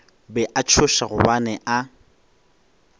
be a tšhoša gobane a